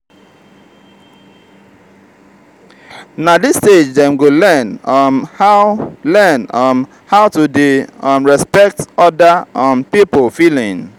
na dis stage dem go learn um how learn um how to dey um respect oda um pipo feeling.